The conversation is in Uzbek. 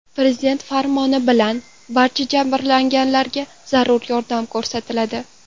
Prezident farmoni bilan barcha jabrlanganlarga zarur yordam ko‘rsatiladi.